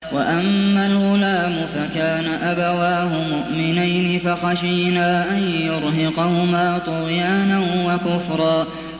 وَأَمَّا الْغُلَامُ فَكَانَ أَبَوَاهُ مُؤْمِنَيْنِ فَخَشِينَا أَن يُرْهِقَهُمَا طُغْيَانًا وَكُفْرًا